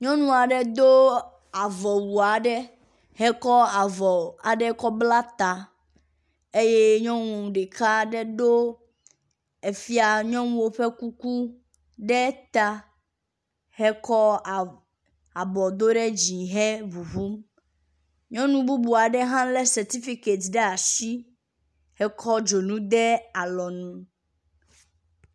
Nyɔnu aɖe do avɔwu aɖe hekɔ avɔ hekɔ bla ta eye nyɔnu ɖeka ɖe do efia nyɔnuwo ƒe kuku ɖe ta hekɔ abɔ do ɖe dzi heŋuŋum. Nyɔnu bubu aɖe hã lé setifiket ɖe asi hekɔ dzonu de alɔnu.